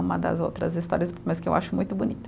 Uma das outras histórias, mas que eu acho muito bonita.